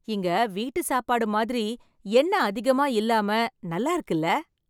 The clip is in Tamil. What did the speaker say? இங்க வீட்டு சாப்பாடு மாதிரி, எண்ண அதிகமா இல்லாம, நல்லா இருக்குல்ல..